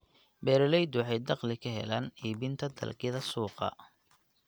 Beeraleydu waxay dakhli ka helaan iibinta dalagyada suuqa.